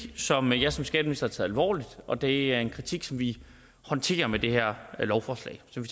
som jeg som skatteminister tager alvorligt og det er en kritik som vi håndterer med det her lovforslag som